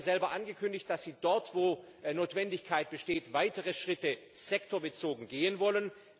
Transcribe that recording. Sie haben selber angekündigt, dass Sie dort, wo Notwendigkeit besteht, weitere Schritte sektorbezogen gehen wollen.